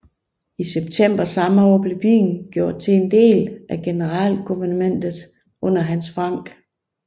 I september samme år blev byen gjort til en del af Generalguvernementet under Hans Frank